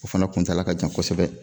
O fana kuntaala ka jan kosɛbɛ